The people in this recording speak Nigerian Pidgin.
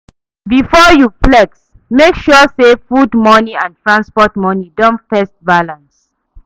Before you flex, make sure say food money and transport money don first balance.